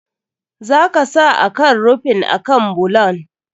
Za ka sa akan rufin akan bulon.